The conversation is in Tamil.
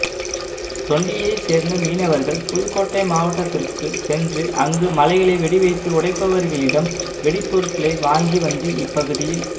தொண்டியை சேர்ந்த மீனவர்கள் புதுக்கோட்டை மாவட்டத்திற்கு சென்று அங்கு மலைகளை வெடி வைத்து உடைப்பவர்களிடம்வெடிபொருட்களை வாங்கி வந்து இப்பகுதியில்